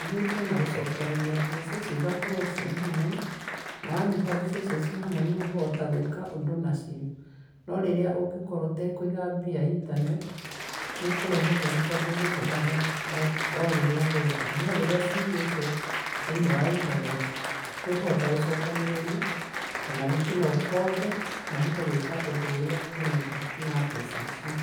Hithĩtie na gũcokereria mbeca icio ikorwo ciĩ hamwe, na wanyita mbeca icio ciĩ hamwe nĩ ũkũhota gwĩka ũndũ nacio, no rĩrĩa ũngĩkorwo ũtakũiga mbia internet, nĩ ikũrehe thĩna tondũ ũrĩhũthagĩra o rĩrĩa wenda. No rĩrĩa ciigĩtwo thĩinĩ wa internet, nĩ ũkũhota gũcokanĩrĩria ona rĩngĩ no ũkombe na ũhote gwĩka ũndũ ũrĩa ũrenda na mbeca icio.